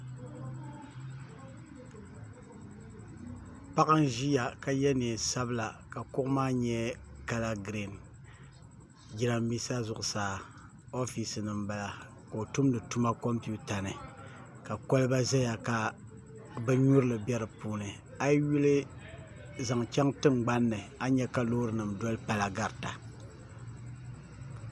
Paɣa n ʒiya ka yɛ neen sabila ka kuɣu ma nyɛ kala giriin jiranbiisa zuɣusaa oofisi ni n bala ka o tumdi tuma kompita ni ka kolba ʒɛya ka bin nyurili bɛ di puuni a yi yuli zaŋ chɛŋ tingbanni a ni nyɛ ka Loori nim garita